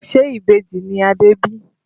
Ṣe Ìbejì ni Adé bí?